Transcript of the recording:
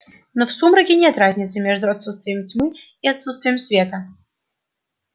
но в сумраке нет разницы между отсутствием тьмы и отсутствием света